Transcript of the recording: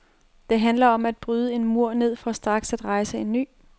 Det handler om at bryde en mur ned for straks at rejse en ny.